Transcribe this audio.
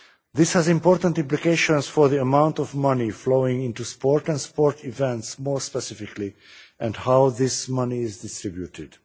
This has important implications for the amount of money flowing into sport and sporting events, more specifically, and how this money is distributed.